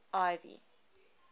ivy